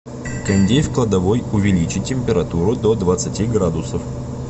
кондей в кладовой увеличить температуру до двадцати градусов